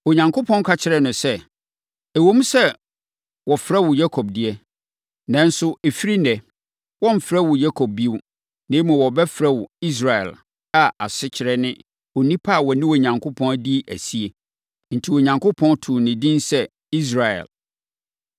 Onyankopɔn ka kyerɛɛ no sɛ, “Ɛwom sɛ wɔfrɛ wo Yakob deɛ, nanso ɛfiri ɛnnɛ, wɔremfrɛ wo Yakob bio, na mmom, wɔbɛfrɛ wo Israel a asekyerɛ ne Onipa a ɔne Onyankopɔn adi asie. Enti Onyankopɔn too ne din sɛ, Israel.”